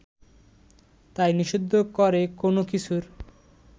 তাই নিষিদ্ধ করে কোনো কিছুর